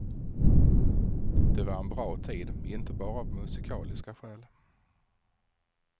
Det var en bra tid inte bara av musikaliska skäl.